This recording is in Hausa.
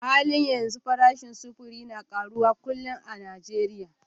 A halin yanzu farashin sufuri na karuwa kullum a Najeriya